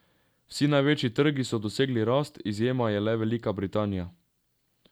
Vsi največji trgi so dosegli rast, izjema je le Velika Britanija.